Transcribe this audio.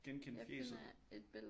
Genkende fjæset